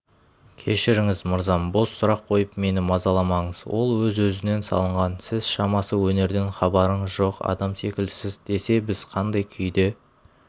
кешіріңіз мырзам бос сұрақ қойып мені мазаламаңыз ол өз-өзінен салынған сіз шамасы өнерден хабарыңыз жоқ адам секілдісіз десе біз қандай күйде